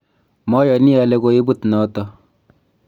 mayani ale koibut noto